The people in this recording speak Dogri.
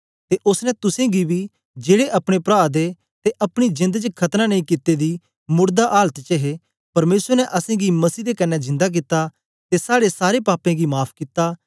ते ओसने तुसेंगी बी जेड़े अपने प्रादे ते अपनी जेंद च खतना नेई कित्ते दी मोड़दा आलत च हे परमेसर ने असेंगी मसीह दे कन्ने जिंदा कित्ता ते साड़े सारे पापें गीं माफ़ कित्ता